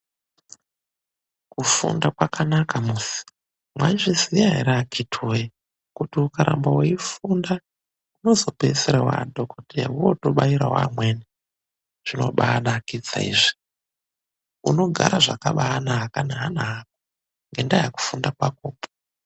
Kufunda kwakanaka muzi. Mwaizviziya here akiti woye, kuti ukaramba weifunda unozopedzisira wadhokoteya mwotobairawo amweni. Zvinobanakidza izvi unogara zvakabaanaka neana ako ngendaa yekufunda kwakoko.